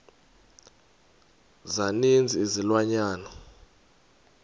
za ninzi izilwanyana